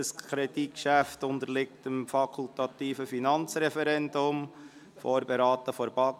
Dieses Kreditgeschäft unterliegt dem fakultativen Finanzreferendum und ist von der BaK vorberaten worden.